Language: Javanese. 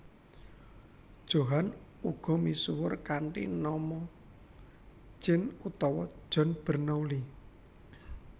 Johann uga misuwur kanthi nama Jean utawa John Bernoulli